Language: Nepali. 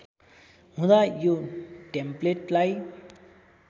हुँदा यो टेम्प्लेटलाई